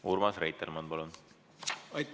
Urmas Reitelmann, palun!